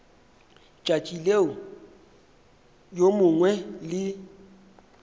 tšatši leo yo mongwe le